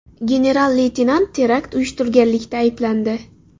General-leytenant terakt uyushtirganlikda ayblandi .